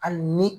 Hali ni